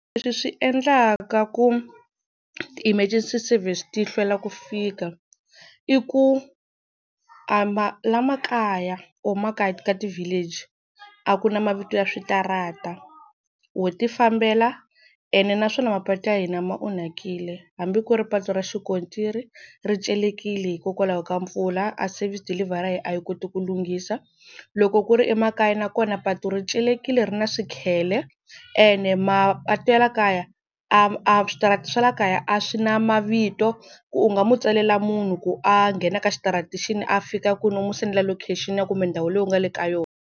Leswi swi endlaka ku ti-emergency service ti hlwela ku fika, i ku a la makaya or makaya ka ti-village a ku na mavito ya switarata wo ti fambela. Ene naswona mapatu ya hina ma onhakile, hambi ku ri patu ra xikontiri ri celekile hikokwalaho ka mpfula a service deliver a yi koti ku lunghisa. Loko ku ri emakaya nakona patu ri celekile ri na swikhele, ene mapatu ya la kaya a a switarata swa laha kaya a swi na mavito ku u nga mu tsalela munhu ku a nghena ka xitarata xini, a fika kwini u n'wi sendela location kumbe ndhawu leyi u nga le ka yona.